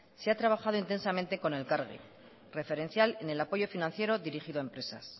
se ha trabajado intensamente con elkargi referencial en el apoyo financiero dirigido a empresas